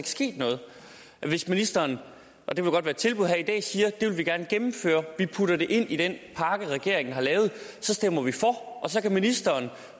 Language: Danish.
sket noget hvis ministeren og det kan godt være et tilbud her i dag siger at det vil vi gerne gennemføre og vi putter det ind i den pakke regeringen har lavet ja så stemmer vi for og så kan ministeren